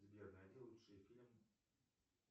сбер найди лучший фильм